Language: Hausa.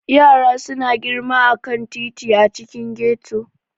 Yara suna girma a kan titi a cikin ghetto.